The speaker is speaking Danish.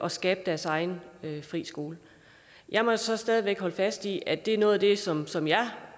at skabe deres egen frie skole jeg må så stadig væk holde fast i at det er noget af det som som jeg